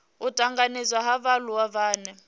u tanganedzwa ha vhaaluwa vhane